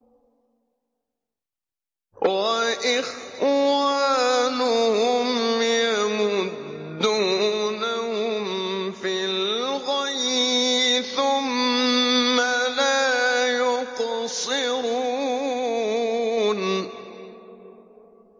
وَإِخْوَانُهُمْ يَمُدُّونَهُمْ فِي الْغَيِّ ثُمَّ لَا يُقْصِرُونَ